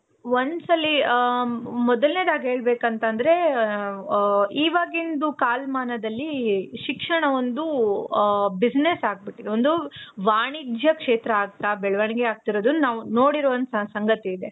ಒಂದು ಸಲೀ ಆ ಮೊದ್ಲ್ನೆದಾಗಿ ಹೇಳ್ಬೇಕು ಅಂತ ಅಂದ್ರೆ, ಇವಾಗಿಂದು ಕಾಲ್ಮಾನ್ದಲ್ಲಿ ಶಿಕ್ಷಣ ಒಂದು ಆ business ಆಗ್ಬಿಟ್ಟಿದೆ. ಒಂದು ವಾಣಿಜ್ಯ ಕ್ಷೇತ್ರ ಆಗ್ತಾ ಬೆಳವಣಿಗೆ ಆಗ್ತಿರೋದುನ್ನ ನಾವು ನೋಡಿರುವಂತ ಸಂಗತಿ ಇದೆ.